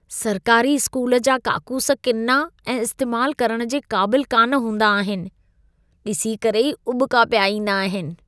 सरकारी स्कूल जा काकूस किना ऐं इस्तेमालु करण जे क़ाबिलु कान हूंदा आहिनि! डि॒सी करे ई उॿिका पिया ईंदा आहिनि!